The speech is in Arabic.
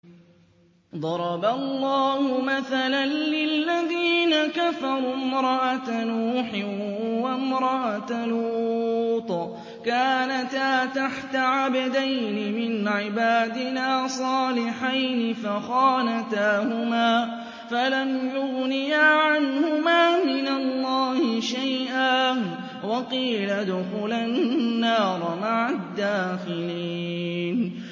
ضَرَبَ اللَّهُ مَثَلًا لِّلَّذِينَ كَفَرُوا امْرَأَتَ نُوحٍ وَامْرَأَتَ لُوطٍ ۖ كَانَتَا تَحْتَ عَبْدَيْنِ مِنْ عِبَادِنَا صَالِحَيْنِ فَخَانَتَاهُمَا فَلَمْ يُغْنِيَا عَنْهُمَا مِنَ اللَّهِ شَيْئًا وَقِيلَ ادْخُلَا النَّارَ مَعَ الدَّاخِلِينَ